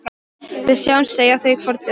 Við sjáumst, segja þau hvort við annað.